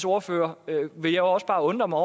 ordfører vil jeg også bare undre mig